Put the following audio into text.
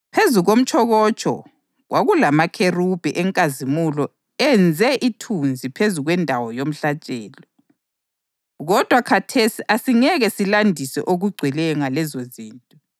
Phezu komtshokotsho kwakulamakherubhi eNkazimulo enze ithunzi phezu kwendawo yomhlatshelo. Kodwa khathesi asingeke silandise okugcweleyo ngalezozinto.